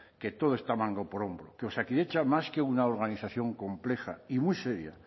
que todo está manga por hombro que osakidetza más que una organización compleja y muy seria